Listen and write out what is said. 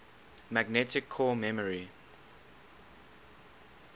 magnetic core memory